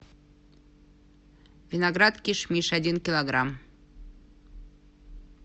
виноград кишмиш один килограмм